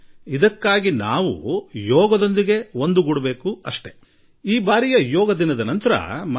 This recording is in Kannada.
ಅದು ಸಾಧ್ಯವಾಗಬೇಕಾದರೆ ನಾವು ಯೋಗದೊಡನೆ ನಂಟು ಬೆಳೆಸಿಕೊಳ್ಳುವುದರ ಅಗತ್ಯವಿದೆ